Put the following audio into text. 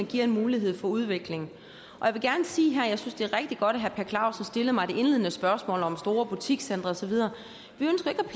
giver mulighed for udvikling jeg vil gerne sige her at jeg synes det er rigtig godt at herre per clausen stillede mig det indledende spørgsmål om store butikscentre og så videre